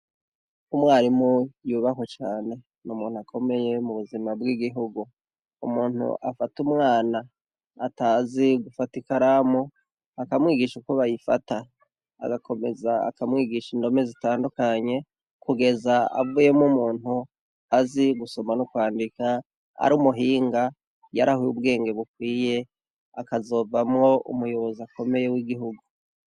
Umwarimu yubahwe cane. N'umuntu akomeye mu buzima bw'igihugu. Umuntu afata umwana atazi gufata ikaramu akamwigisha uko bayifata, agakomeza akamwigisha indome zitandukanye kugeza avuyemwo umuntu azi gusoma no kwandika, ar'umuhinga yahawe ubwenge bukwiye akazovamwo umuyobozi akomeye w'igihugu.